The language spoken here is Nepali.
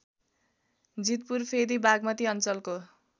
जितपुरफेदी बागमती अञ्चलको